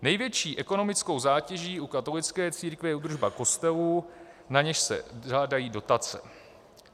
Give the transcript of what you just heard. Největší ekonomickou zátěží u katolické církve je údržba kostelů, na něž se žádají dotace.